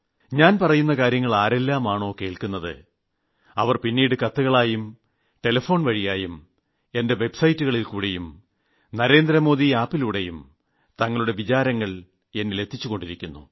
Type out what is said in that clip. ഞാൻ പറയുന്ന കാര്യങ്ങൾ ആരെല്ലാമാണോ കേൾക്കുന്നത് അവർ പിന്നീട് കത്തുകളായും ടെലഫോൺവഴിയും എന്റെ വൈബ്സൈറ്റുകളിൽക്കൂടിയും NarendraModiAppലൂടെയും തങ്ങളുടെ വികാരവിചാരങ്ങൾ എന്നിൽ എത്തിച്ചു കൊണ്ടിരിക്കുന്നു